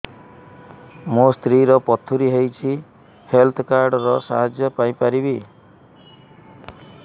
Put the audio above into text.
ମୋ ସ୍ତ୍ରୀ ର ପଥୁରୀ ହେଇଚି ହେଲ୍ଥ କାର୍ଡ ର ସାହାଯ୍ୟ ପାଇପାରିବି